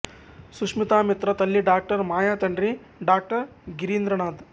సుష్మితా మిత్రా తల్లి డాక్టర్ మాయ తండ్రి డాక్టర్ గిరీంద్రనాథ్